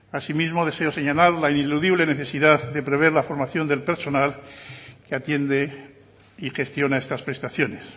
asimismo deseo señalar la ineludible necesidad de prever la formación del personal que atiende y gestiona estas prestaciones